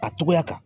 A togoya kan